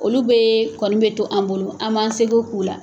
Olu bɛ kɔni bɛ to an bolo an b'an seko k'u la.